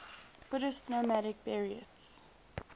buddhist nomadic buryats